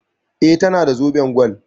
E, tana da zoben gwal.